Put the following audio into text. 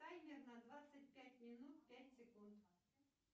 таймер на двадцать пять минут пять секунд